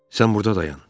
Sən burda dayan.